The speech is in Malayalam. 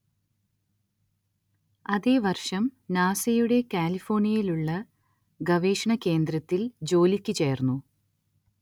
അതേ വർഷം നാസയുടെ കാലിഫോർണിയയിലുള്ള ഗവേഷണ കേന്ദ്രത്തിൽ ജോലിക്കു ചേർന്നു.